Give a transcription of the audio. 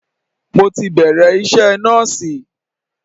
Mo ti bẹ̀rẹ̀ iṣẹ́ nọ́ọ̀sì.